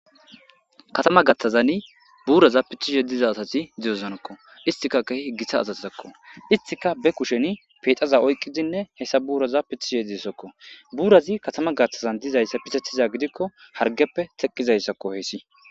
Kathama gaxazani buraza pitishe diza asati de, osonako istika kehi githa asako istika be kusheni pexa oyikidinne hesa buraza pitishe de,ees burazi kathama gaxan pitetizayisa gidiko hargepe teqizayisa hesati